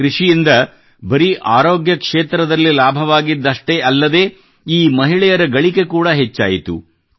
ಈ ಕೃಷಿಯಿಂದ ಬರೀ ಅರೋಗ್ಯ ಕ್ಷೇತ್ರದಲ್ಲಿ ಲಾಭವಾಗಿದ್ದಷೆ್ಟೀ ಅಲ್ಲದೆ ಈ ಮಹಿಳೆಯರ ಗಳಿಕೆ ಕೂಡ ಹೆಚ್ಚಾಯಿತು